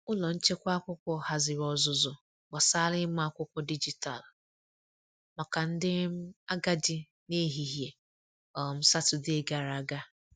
Ụlọ nchekwa akwụkwọ haziri ọzụzụ gbasara ịma akwụkwọ dijitalụ maka ndị um agadi n’ehihie um Satọdee gara aga.